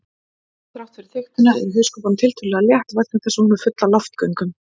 Þrátt fyrir þykktina er hauskúpan tiltölulega létt vegna þess að hún er full af loftgöngum.